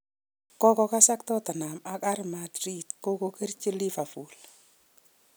Kokasak Tottenham ak R Madrid, kokokerchi Liverpool